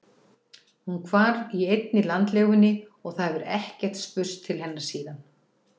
Hún hvarf í einni landlegunni og það hefur ekkert spurst til hennar síðan.